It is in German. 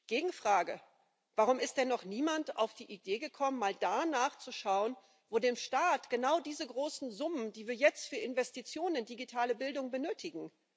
Gegenfrage Warum ist denn noch niemand auf die Idee gekommen, mal da nachzuschauen, wo dem Staat genau diese großen Summen fehlen, die wir jetzt für Investitionen in digitale Bildung benötigen?